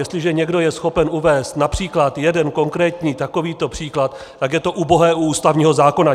Jestliže někdo je schopen uvést například jeden konkrétní takovýto příklad, tak je to ubohé u ústavního zákona.